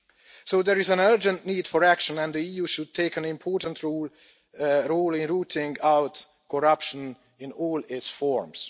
So there is an urgent need for action, and the EU should take an important role in rooting out corruption in all its forms.